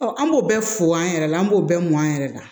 an b'o bɛɛ fɔ an yɛrɛ la an b'o bɛɛ mɔn an yɛrɛ la